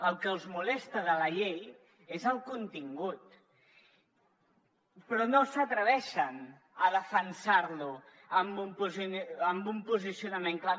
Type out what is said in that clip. el que els molesta de la llei és el contingut però no s’atreveixen a defensar lo amb un amb un posicionament clar